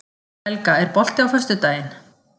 Helga, er bolti á föstudaginn?